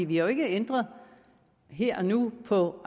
vi har jo ikke ændret her og nu på